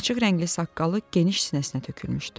Açıq rəngli saqqalı geniş sinəsinə tökülmüşdü.